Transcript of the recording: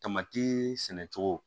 sɛnɛ cogo